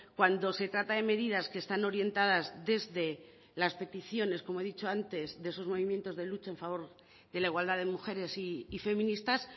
cuando se trata de medidas que están orientadas desde las peticiones como he dicho antes de esos movimientos de lucha en favor de la igualdad de mujeres y feministas